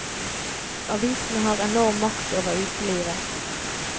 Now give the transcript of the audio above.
Avisene har enorm makt over utelivet.